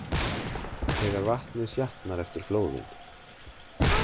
Þegar vatnið sjatnar eftir flóðin.